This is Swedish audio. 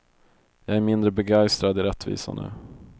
Jag är mindre begeistrad i rättvisa nu.